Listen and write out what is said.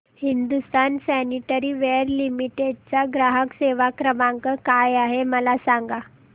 Hindustan sanitaryware limited चा ग्राहक सेवा क्रमांक काय आहे मला सांगा